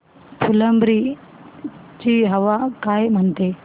फुलंब्री ची हवा काय म्हणते